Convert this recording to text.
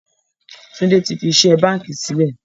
Tunde tí fí iṣẹ́ báńkì sílẹ̀